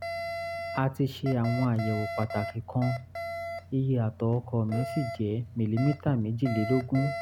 a ti ṣe àwọn àyẹ̀wò pàtàkì kan iye atọ̀ ọkọ mi sì jẹ́ mìlílítà méjìlélógún